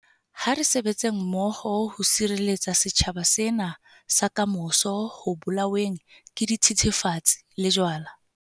Ha re sebetseng mmoho ho sireletsa setjhaba sena sa kamoso ho bolaweng ke dithethefatsi le jwala.